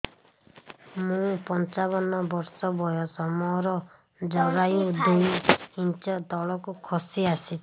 ମୁଁ ପଞ୍ଚାବନ ବର୍ଷ ବୟସ ମୋର ଜରାୟୁ ଦୁଇ ଇଞ୍ଚ ତଳକୁ ଖସି ଆସିଛି